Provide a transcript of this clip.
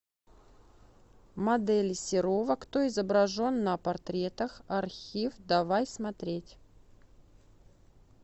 модели серова кто изображен на портретах архив давай смотреть